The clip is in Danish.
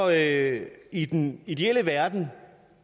at i den ideelle verden